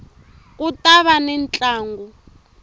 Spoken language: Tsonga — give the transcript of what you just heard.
ku ta va ni ntlangu